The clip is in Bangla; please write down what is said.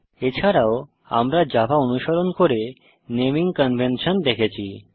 এছাড়াও আমরা জাভা অনুসরণ করে নেমিং কনভেনশন দেখেছি